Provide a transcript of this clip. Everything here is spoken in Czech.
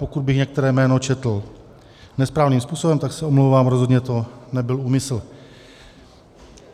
Pokud bych některé jméno četl nesprávným způsobem, tak se omlouvám, rozhodně to nebyl úmysl.